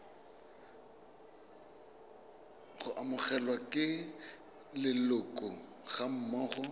go amogelwa ke leloko gammogo